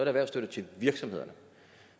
erhvervsstøtte til virksomhederne